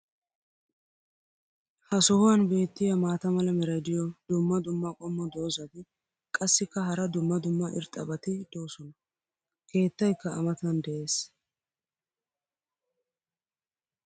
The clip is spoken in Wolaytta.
Ha sohuwan beetiya maata mala meray diyo dumma dumma qommo dozzati qassikka hara dumma dumma irxxabati doosona. keettaykka a matan des.